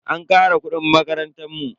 An kara kudin makarantan mu.